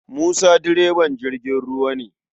Musa direban jirgin ruwa ne.